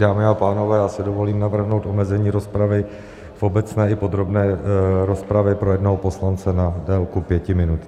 Dámy a pánové, já si dovolím navrhnout omezení rozpravy v obecné i podrobné rozpravě pro jednoho poslance na délku pěti minut.